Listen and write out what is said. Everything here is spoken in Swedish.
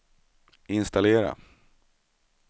installera